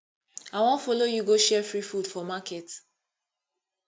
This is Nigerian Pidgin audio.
i wan follow you go share free food for market